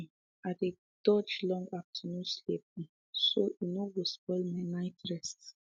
um i dey dodge long afternoon sleep um so e no go spoil my night rest